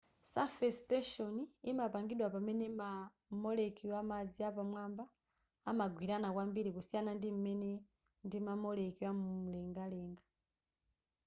surface tension imapangidwa pamene ma molecule amadzi pamwamba amagwirana kwambiri kusiyana ndim'mene ndima molecule amulengalenga